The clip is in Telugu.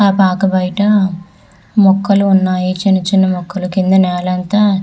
ఆ పార్క్ బయట మొక్కలు వున్నాయ్ చిన్న చిన్న మొక్కలు వున్నాయ్ కింద నెల అంతా --